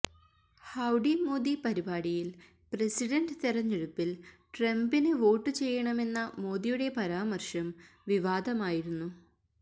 howdy Modi പരിപാടിയിൽ president തെരഞ്ഞെടുപ്പിൽ ട്രംപിന് വോട്ട് ചെയ്യണമെന്ന മോദിയുടെ പരാമർശം വിവാദമായിരുന്നു